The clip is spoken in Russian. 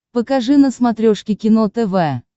покажи на смотрешке кино тв